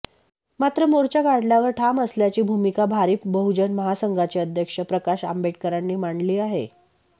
मात्र मोर्चा काढण्यावर ठाम असल्याची भूमिका भारिप बहुजन महासंघाचे अध्यक्ष प्रकाश आंबेडकरांनी मांडली आहे